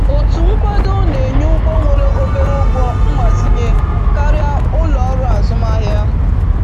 Otu nkwado na-enye ụgwọ nwere obere ụgwọ mgbazinye karịa ụlọ ọrụ azụmahịa.